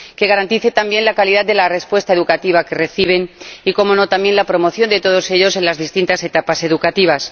que garanticen también la calidad de la respuesta educativa que reciben y —cómo no— la promoción de todos ellos en las distintas etapas educativas.